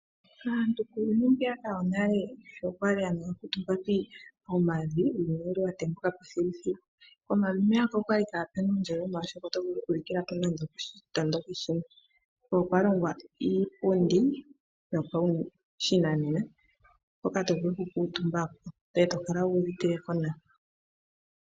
Aantu kuuyuni mbwiyaka wonale sho ya li haya kuutumba pomavi, uuyuni owa tembuka po thiluthilu. Pomavi kapwa li pu na uundjolowele, oshoka owa li to vulu okulikila po nande okoshitondoki shimwe. Okwa longwa iipundi yopashinanena hoka to vulu okukuutumba ko e to kala wu uvite nawa.